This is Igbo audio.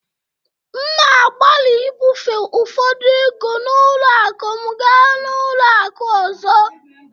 M na-agbalị ibufe ụfọdụ ego n'ụlọ akụ m gaa n'ụlọ akụ ọzọ